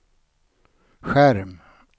skärm